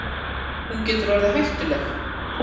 Hún getur orðið hættuleg.